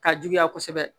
Ka juguya kosɛbɛ